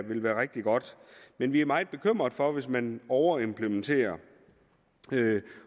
vil være rigtig godt men vi er meget bekymret for det hvis man overimplementerer